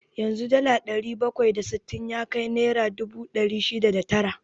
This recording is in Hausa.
Yanzu dala ɗari bakwai da sittin ya kai naira dubu ɗari shida da tara.